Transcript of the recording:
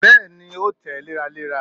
Bẹẹni, o tẹ́ léra léra.